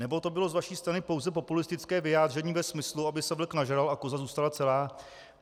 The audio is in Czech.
Nebo to bylo z vaší strany pouze populistické vyjádření ve smyslu, aby se vlk nažral a koza zůstala celá?